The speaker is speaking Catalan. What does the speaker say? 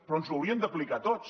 però ens ho hauríem d’aplicar a tots